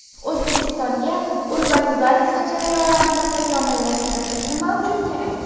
O‘zbekistonga urbanizatsiya jarayonlarini takomillashtirish nima uchun kerak?